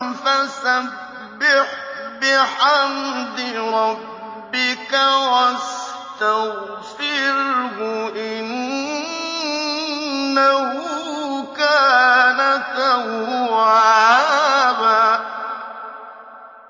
فَسَبِّحْ بِحَمْدِ رَبِّكَ وَاسْتَغْفِرْهُ ۚ إِنَّهُ كَانَ تَوَّابًا